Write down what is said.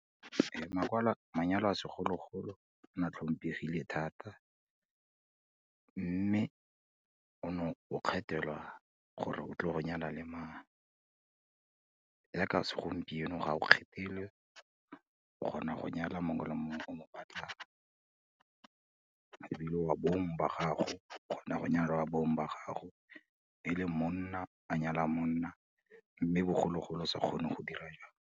manyalo a segologolo na tlhomphegile thata, mme o ne o kgethelwa gore o tlile go nyala le mang, yaka segompieno ga o kgethelwe, o kgona go nyala mongwe le mongwe o mo batlang, ebile wa bong ba gago, o kgona go nyala wa bong ba gago e le monna a nyala monna, mme bogologolo o sa kgone go dira jalo.